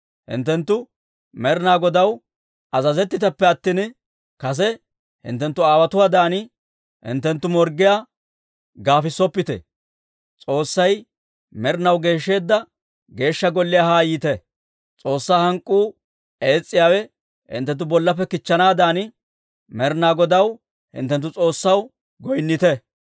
Hinttenttu Med'inaa Godaw azazettiteppe attina, kase hinttenttu aawotuwaadan hinttenttu morggiyaa gaafissoppite! S'oossay med'inaw geeshsheedda Geeshsha Golliyaa haa yiite. S'oossaa hank'k'uu ees's'iyaawe hinttenttu bollappe kichchanaadan, Med'inaa Godaw, hinttenttu S'oossaw, goynnite.